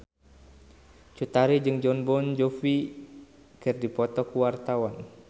Cut Tari jeung Jon Bon Jovi keur dipoto ku wartawan